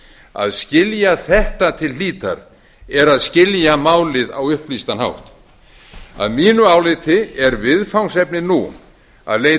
að skilja þetta til hlítar er að skilja málið á upplýstan hátt að mínu áliti er viðfangsefnið nú að leita